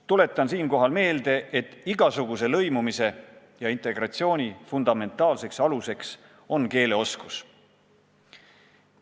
Tuletan siinkohal meelde, et igasuguse lõimumise, integratsiooni fundamentaalseks aluseks on keeleoskus.